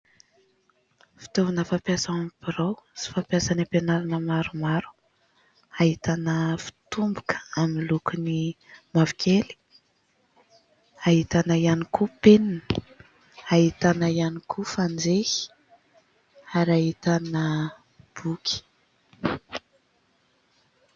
Fitaovana fampiasa ao amin'ny birao sy fampiasa any am-pianarana maromaro. Ahitana fitomboka amin'ny lokony mavokely, ahitana ihany koa penina, ahitana ihany koa fanjehy ary ahitana boky.